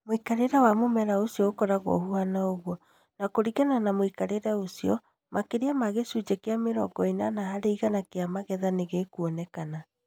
Mui͂kari͂re wa mu͂mera uci͂o u͂koragwo u͂haana u͂guo, na ku͂ringana na mu͂ikarire u͂cio, maki͂ria ma gi͂cunji͂ ki͂a mi͂rongo i͂nana hari igana ki͂a magetha ni gi͂kuonekana.